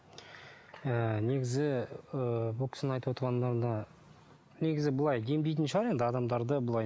ы негізі ы бұл кісінің айтып отырғандарына негізі былай емдейтін шығар енді адамдарды былай